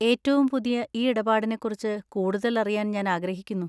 ഏറ്റവും പുതിയ ഈ ഇടപാടിനെക്കുറിച്ച് കൂടുതലറിയാൻ ഞാൻ ആഗ്രഹിക്കുന്നു.